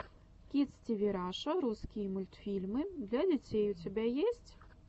кидс тиви раша русский мультфильмы для детей у тебя есть